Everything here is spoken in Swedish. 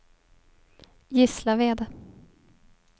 Gislaved